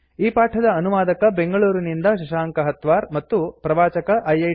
ಈ ಪಾಠದ ಅನುವಾದಕ ಬೆಂಗಳೂರಿನಿಂದ ಶಶಾಂಕ ಹತ್ವಾರ್ ಮತ್ತು ಪ್ರವಾಚಕ ಐಐಟಿ